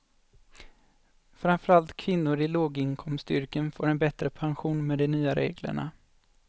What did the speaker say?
Framför allt kvinnor i låginkomstyrken får en bättre pension med de nya reglerna.